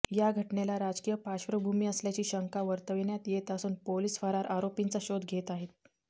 या घटनेला राजकीय पार्श्वभूमी असल्याची शंका वर्तविण्यात येत असून पोलीस फरार आरोपींचा शोध घेत आहेत